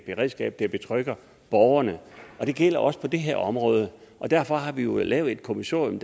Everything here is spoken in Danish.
beredskab der betrygger borgerne og det gælder også på det her område derfor har vi jo lavet et kommissorium